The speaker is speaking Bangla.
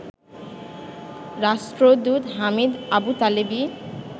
রাষ্ট্রদূত হামিদ আবুতালেবি